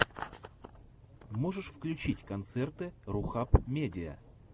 можешь включить концерты рухаб медиа